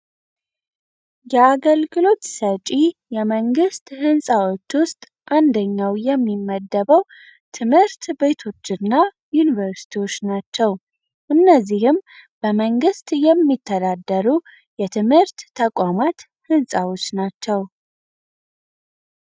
የአገልግሎት ሰጪ የመንግስት ህንጻዎች ውስጥ አንደኛው የሚመደበው ትምህርት ቤቶችና ዩኒቨርስቲዎች ናቸው። እነዚህም በመንግስት የሚተዳደሩ የትምህርት ተቋማት ህንፃዎች ናቸውይ።